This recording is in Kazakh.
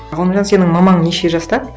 ғалымжан сенің мамаң неше жаста